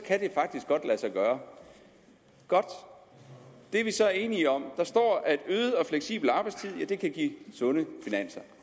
gøre godt det er vi så enige om der står at en øget og fleksibel arbejdstid kan give sunde finanser